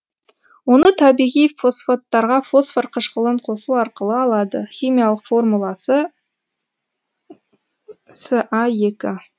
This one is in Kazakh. оны табиғи фосфаттарға фосфор қышқылын қосу арқылы алады химиялық формуласы са екі